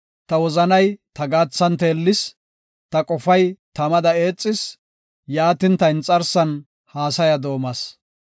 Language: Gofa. Ta wozanay ta gaathan teellis; ta qofay tamada eexis; yaatin ta inxarsan haasaya doomas.